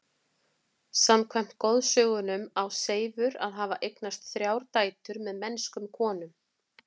Samkvæmt goðsögunum á Seifur að hafa eignast þrjár dætur með mennskum konum.